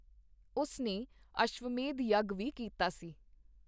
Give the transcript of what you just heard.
ਉਸ ਨੇ ਅਸ਼ਵਮੇਧ ਯੱਗ ਵੀ ਕੀਤਾ ਸੀ।